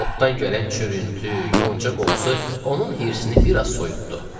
Otdan gələn çürütü, yonca qoxusu onun hirsinə biraz soyutdu.